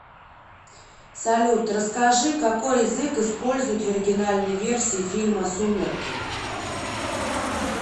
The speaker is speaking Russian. салют расскажи какои язык используют в оригинальнои версии фильма сумерки